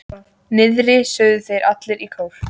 Niðri, sögðu þeir allir í kór.